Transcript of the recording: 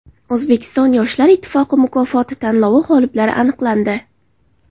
O‘zbekiston yoshlar ittifoqi mukofoti tanlovi g‘oliblari aniqlandi.